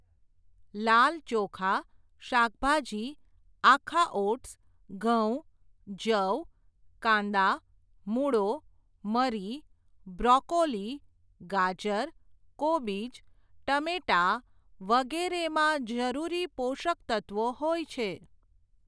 લાલ ચોખા, શાકભાજી, આખા ઓટ્સ, ઘઉં, જવ, કાંદા, મૂળો, મરી, બ્રોકોલી, ગાજર, કોબીજ, ટમેટાં વગેરેમાં જરૂરી પોષક તત્વો હોય છે.